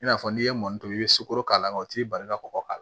I n'a fɔ n'i ye mɔni to yen i bɛ sukoro k'a la o t'i bali ka kɔkɔ k'a la